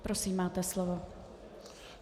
Prosím, máte slovo.